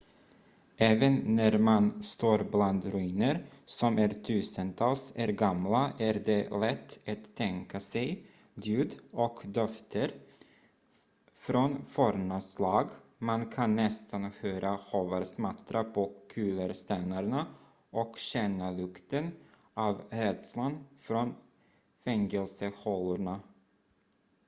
även när man står bland ruiner som är tusentals är gamla är det lätt att tänka sig ljud och dofter från forna slag man kan nästan höra hovar smattra på kullerstenarna och känna lukten av rädslan från fängelsehålorna